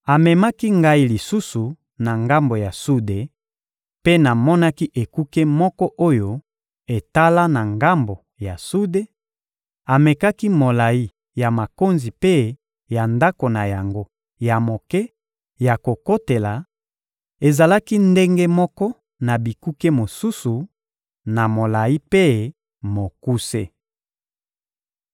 Amemaki ngai lisusu na ngambo ya sude, mpe namonaki ekuke moko oyo etala na ngambo ya sude; amekaki molayi ya makonzi mpe ya ndako na yango ya moke ya kokotela: ezalaki ndenge moko na bikuke mosusu, na molayi mpe mokuse.